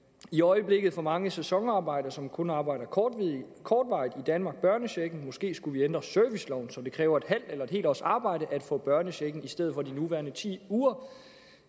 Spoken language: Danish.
i øjeblikket får mange sæsonarbejdere som kun arbejder kortvarigt i danmark børnechecken måske skulle vi ændre serviceloven så det kræver en halv eller en helt års arbejde at få børnechecken i stedet for de nuværende ti uger